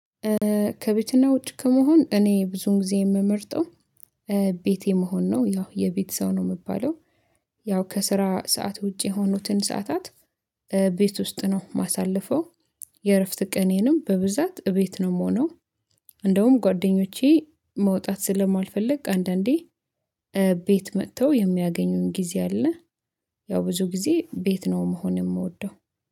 ከቤትና ውጭ ከመሆን እኔ ብዙን ጊዜ የምመርጠው። ቤቴ መሆን ነው ያው የቤት ሰው ነው የምባለው። ያው ከስራ ሰዓት ውጪ የሆኑትን ሰዓታት። ቤት ውስጥ ነው ማሳለፈው። የእረፍት ቀኔንም በብዛት እቤት ነው የምሆነው። እንደውም ጓደኞቼ መውጣት ስለማልፈልግ አንዳንዴ ቤት መጥተው የሚያገኙኝ ጊዜ አለ። ያው ብዙ ጊዜ ቤት ነው መሆን የምወደው